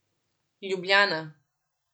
Ljubljana.